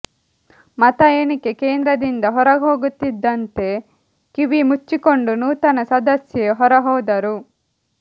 ಮತ ಎಣಿಕೆ ಕೇಂದ್ರದಿಂದ ಹೊರಹೋಗುತ್ತಿದ್ದಂತೆ ಕಿವಿ ಮುಚ್ಚಿಕೊಂಡು ನೂತನ ಸದಸ್ಯೆ ಹೊರಹೋದರು